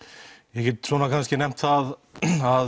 ég get nefnt það að